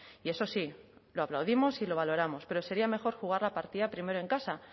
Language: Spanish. y eso sí lo aplaudimos y lo valoramos pero sería mejor jugar la partida primero en casa